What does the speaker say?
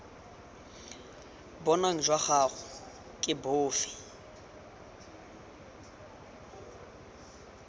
bong jwa gago ke bofe